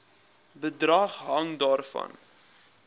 bedrag hang daarvan